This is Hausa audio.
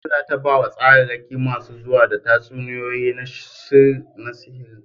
Khadija za ta ba wa tsararraki masu zuwa da tatsuniyoyinsu na sihiri a Kaduna.